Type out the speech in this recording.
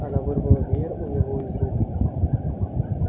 она вырвала веер у него из рук